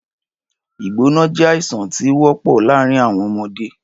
Ìgbóná jé àìsàn tí ówópò láàrin àwọn ọmọdé